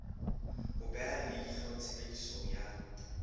ho beha leihlo tshebediso ya